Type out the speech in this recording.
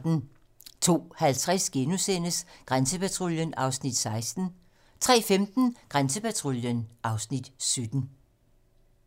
02:50: Grænsepatruljen (Afs. 16)* 03:15: Grænsepatruljen (Afs. 17)